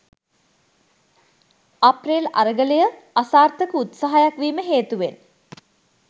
අප්‍රේල් අරගලය අසාර්ථක උත්සාහයක් වීම හේතුවෙන්